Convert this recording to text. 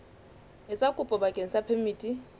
etsa kopo bakeng sa phemiti